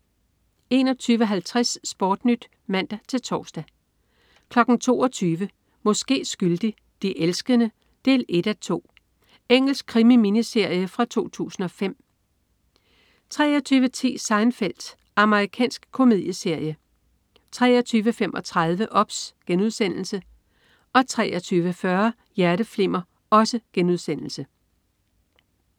21.50 SportNyt (man-tors) 22.00 Måske skyldig. De elskende 1:2. Engelsk krimi-miniserie fra 2005 23.10 Seinfeld. Amerikansk komedieserie 23.35 OBS* 23.40 Hjerteflimmer*